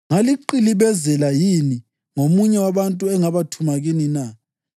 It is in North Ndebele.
Ngaliqilibezela yini ngomunye wabantu engabathuma kini na?